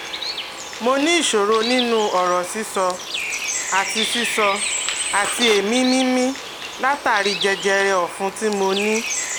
Mo ní ìṣòro nínú ọ̀rọ̀ sísọ àti sísọ àti èémí mímí látàri jẹjẹrẹ ọ̀fun tí mo ní